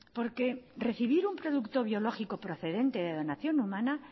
porque recibir un producto biológico procedente de donación humana